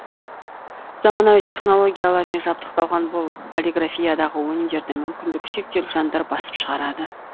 заманауи технологиялармен жабдықталған бұл полиграфиядағы өнімдерді мүмкіндігі шектеулі жандар басып шығарады